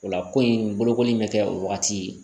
O la ko in bolokoli in bɛ kɛ o wagati